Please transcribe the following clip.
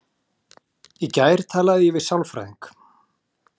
Í gær talaði ég við sálfræðing.